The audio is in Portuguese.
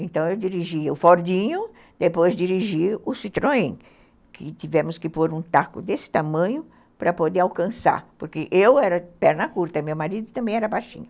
Então, eu dirigia o Fordinho, depois dirigia o Citroën, que tivemos que pôr um taco desse tamanho para poder alcançar, porque eu era de perna curta e meu marido também era baixinho.